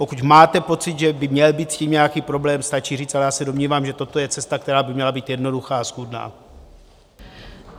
Pokud máte pocit, že by měl být s tím nějaký problém, stačí říct, ale já se domnívám, že toto je cesta, která by měla být jednoduchá a schůdná.